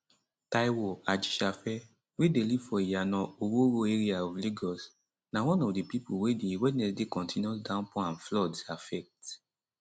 taiwo ajisafe wey dey live for iyana oworo area of lagos na one of di pipo wey di wednesday continuous downpour and floods affect